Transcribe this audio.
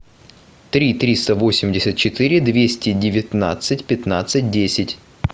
три триста восемьдесят четыре двести девятнадцать пятнадцать десять